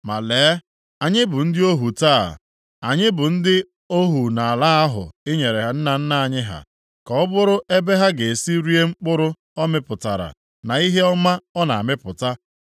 “Ma lee, anyị bụ ndị ohu taa, e, anyị bụ ndị ohu nʼala ahụ i nyere nna nna anyị ha, ka ọ bụrụ ebe ha ga-esi rie mkpụrụ ọ mịpụtara na ihe ọma ọ na-amịpụta.